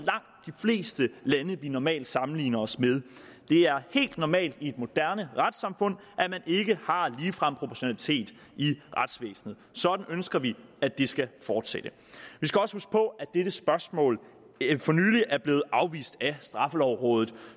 fleste lande vi normalt sammenligner os med det er helt normalt i et moderne retssamfund at man ikke har ligefrem proportionalitet i retsvæsenet sådan ønsker vi at det skal fortsætte vi skal også huske på at dette spørgsmål for nylig er blevet afvist af straffelovrådet